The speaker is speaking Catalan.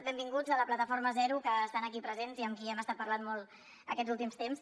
benvinguts la plataforma residu zero que estan aquí presents i amb qui hem estat parlant molt aquests últims temps